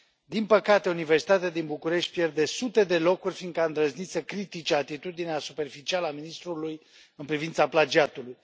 Din păcate, Universitatea din București pierde sute de locuri fiindcă a îndrăznit să critice atitudinea superficială a ministrului în privința plagiatului.